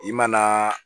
I ma na